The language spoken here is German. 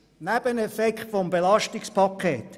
Drittens, der Nebeneffekt des Belastungspakets.